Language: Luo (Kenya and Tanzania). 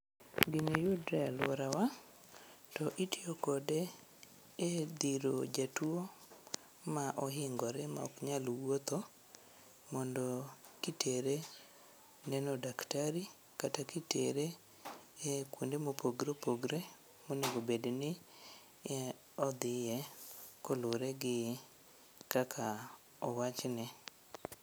Gini yudre alworawa to itiyo kode e dhiro jatuo ma ohingore maok nyal wuotho mondo kitere neno daktari kata kitere e kuonde mopogre opogre monegobedni odhiye koluwre gi kaka owachne.